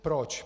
Proč?